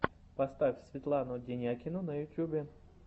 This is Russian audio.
поставь светлану денякину на ютубе